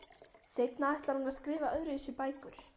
Seinna ætlar hún að skrifa öðruvísi bækur.